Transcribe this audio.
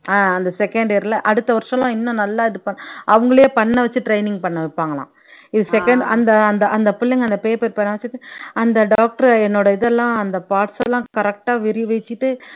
ஆஹ் அந்த second year ல அடுத்த வருஷம்லாம் இன்னும் நல்லா இது அவங்களே பண்ண வச்சு training பண்ண வைப்பாங்களாம் இது second அந்த அந்த அந்த பிள்ளைங்க அந்த paper பேணா வெச்சிட்டு அந்த doctor என்னோட இதெல்லாம் அந்த parts எல்லாம் correct ஆ விரிவெச்சிட்டு